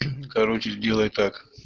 короче сделай так